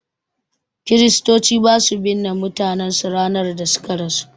Kristoci basu binne mutanen su ranar da suka rasu